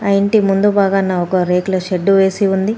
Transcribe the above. ఆ ఇంటి ముందు బాగాన ఒక రేకుల షెడ్డు వేసి ఉంది.